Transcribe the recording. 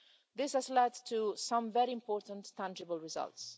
This has led to some very important tangible results.